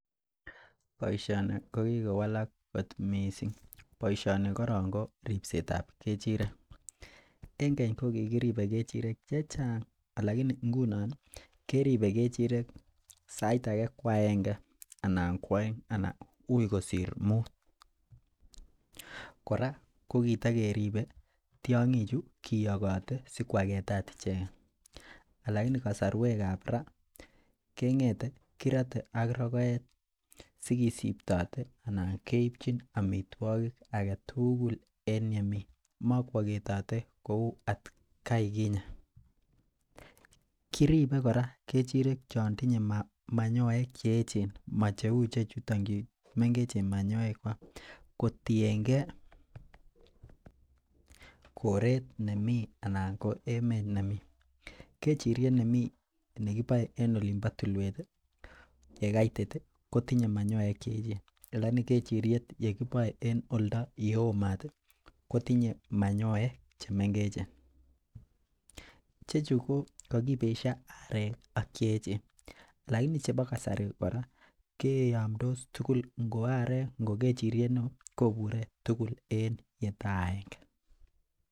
Boisioni kokikowalak kot missing, boisioni koripsetab kechirek en keny kokikiripe kechirek chechang alakini ngunon keripe sait ake kwaenge anan kwoeng ui kosir mut, kora kokitokeribe tiong'ichu kiyokote sikwaketa icheken lakini kasarwekab raa keng'ete kirote ak rokoet sikisiptote anan keipchin amitwokik aketugul en yemi mokwoketote kou at kai kinye, kiripe kora kechirek chontinye manyoek cheechen mo cheu ichechuton chu mengechen manyoe kwak kotienge koret nemii anan emet nemii kechiriet nemi nekiboe en olimpo tulwet yekaitit kotinye manyoek cheechen lakini kechiriet nekiboe en olto yeo mat kotinye manyoek chemengechen, ichechu kokokibesio arek ak cheechen lakini chepo kasari, kora kiyomtos tugul ko arek ngo kechiriet neo kobure tugul en yeta akenge.